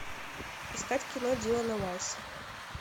искать кино дилана вайса